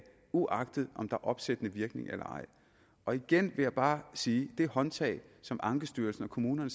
uanset om der er opsættende virkning eller ej igen vil jeg bare sige at det håndtag som ankestyrelsen og kommunerne